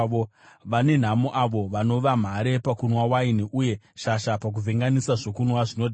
Vane nhamo avo vanova mhare pakunwa waini, uye shasha pakuvhenganisa zvokunwa zvinodhaka,